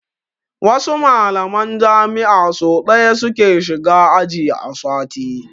Wasu mallaman jami'a so ɗaya su ke shiga aji a sati.